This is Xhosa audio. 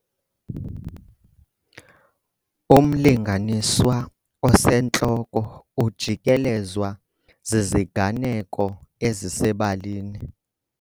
Umlinganiswa osentloko ujikelezwa ziziganeko ezisebalini